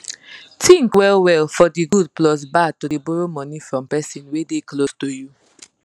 think well well for de good plus bad to dey borrow money from person wey dey close to you